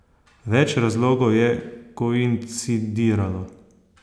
Več razlogov je koincidiralo.